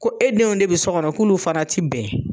Ko e denw de be so kɔnɔ k'olu fara ti bɛn